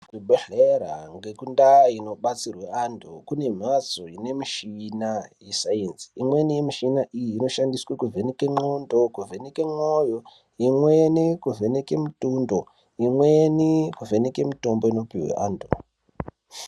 Kuzvibhehlera ngekundaa inobatsirwe antu kune mhatso ine mishina yesainzi. Mishina iyi inoshandiswa kuvheneka ndxondo, kuvheneke mwoyo, imweni kuvheneke mitundo imweni kuvheneke mitombo inopihwe antu.